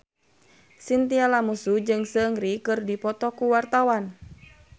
Chintya Lamusu jeung Seungri keur dipoto ku wartawan